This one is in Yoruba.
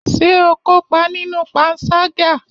Ṣé o kópa nínú panṣágà?